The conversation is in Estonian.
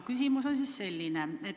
Küsimus on aga selline.